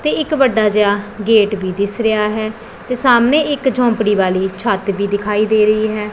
ਤੇ ਇੱਕ ਵੱਡਾ ਜਿਹਾ ਗੇਟ ਵੀ ਦਿਸ ਰਿਹਾ ਹੈ ਤੇ ਸਾਹਮਣੇ ਇੱਕ ਝੌਂਪੜੀ ਵਾਲੀ ਛੱਤ ਵੀ ਦਿਖਾਈ ਦੇ ਰਹੀ ਹੈ।